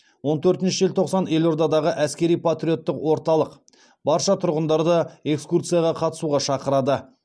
он төртінші желтоқсан елордадағы әскери патриоттық орталық барша тұрғындарды экскурсияға қатысуға шақырады